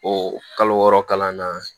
O kalo wɔɔrɔ kalan na